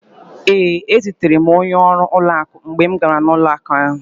Ee, ezutere m onye ọrụ ụlọakụ mgbe m gara ụlọakụ ahụ.